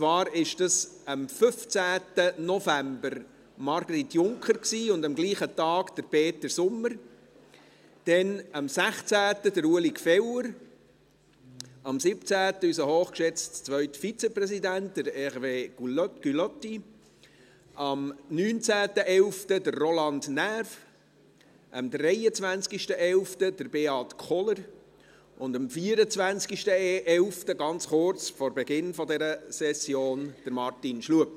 Zwar sind das: am 15. November Margrit Junker und am gleichen Tag Peter Sommer, am 16. November Ueli Gfeller, am 17. November unser hochgeschätzter zweiter Vizepräsident Hervé Gullotti, am 19. November Roland Näf, am 23. November Beat Kohler und am 24. November, ganz kurz vor Beginn dieser Session, Martin Schlup.